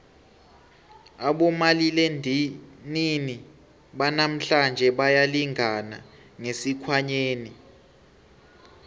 abomaliledinini banamhlanje bayalingana ngesikhwanyeni